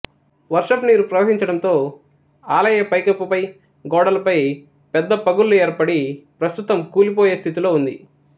వర్షపు నీరు ప్రవహించడంతో ఆలయ పైకప్పుపై గోడలపై పెద్ద పగుళ్లు ఏర్పడి ప్రస్తుతం కూలిపోయే స్థితిలో ఉంది